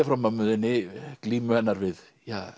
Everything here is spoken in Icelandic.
frá mömmu þinni glímu hennar við